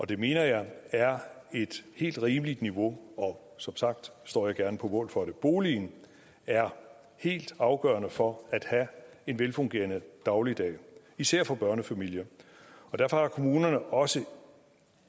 det mener jeg er et helt rimeligt niveau og som sagt står jeg gerne på mål for det boligen er helt afgørende for at have en velfungerende dagligdag især for børnefamilier og derfor har kommunerne også